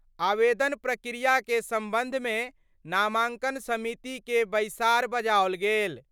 आवेदन प्रक्रिया के संबंध मे नामांकन समिति के बैसार बजाओल गेल।